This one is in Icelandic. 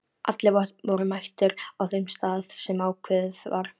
Allir voru mættir á þeim stað sem ákveðið var.